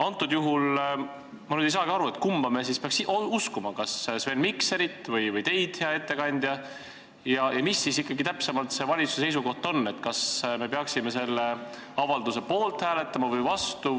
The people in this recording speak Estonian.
Antud juhul ma nüüd ei saagi aru, kumba me siis peaks uskuma, kas Sven Mikserit või teid, hea ettekandja, ja mis siis ikkagi see valitsuse seisukoht täpsemalt on, kas me peaksime hääletama selle avalduse poolt või vastu.